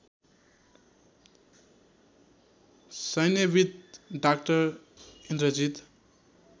सैन्यविद् डा इन्द्रजीत